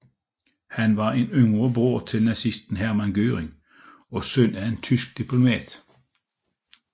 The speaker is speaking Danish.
Han var en yngre bror til nazisten Hermann Göring og søn af en tysk diplomat